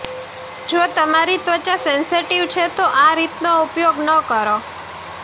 જો તમારી ત્વચા સેંસેટિવ છે તો આ રીતનો ઉપયોગ ન કરો